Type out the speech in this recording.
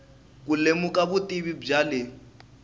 ku lemuka vutivi bya le